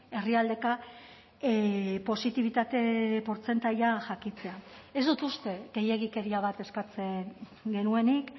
herrialdeka positibitate portzentaia jakitea ez dut uste gehiegikeria bat eskatzen genuenik